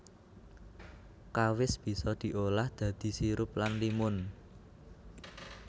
Kawis bisa diolah dadi sirup lan limun